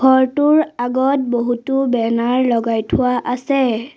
ঘৰটোৰ আগত বহুতো বেনাৰ লগাই থোৱা আছে।